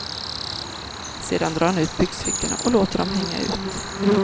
Sedan drar han ut byxfickorna och låter dem hänga ut.